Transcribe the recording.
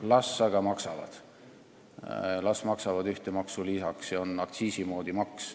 Las aga maksavad, las maksavad ühte maksu lisaks, see on aktsiisi moodi maks.